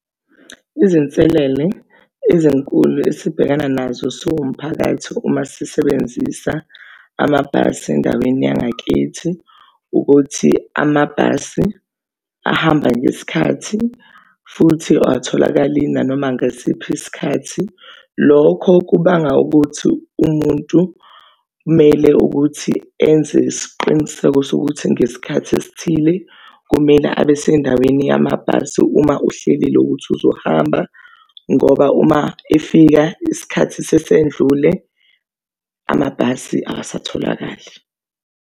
Izinselele ezinkulu esibhekana nazo siwumphakathi uma sisebenzisa amabhasi endaweni yangakithi, ukuthi amabhasi ahamba ngesikhathi futhi awatholakali nanoma ngasiphi isikhathi. Lokho kubanga ukuthi umuntu kumele ukuthi enze isiqiniseko sokuthi ngesikhathi esithile kumele abe sendaweni yamabhasi. Uma uhleli uloku uthi uzohamba ngoba uma efika isikhathi sesendlule amabhasi akasatholakali.